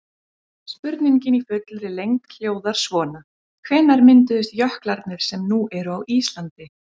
Spurningin í fullri lengd hljóðar svona: Hvenær mynduðust jöklarnir sem nú eru á Íslandi?